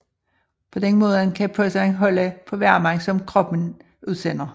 På den måde kan posen holde på varmen som kroppen udsender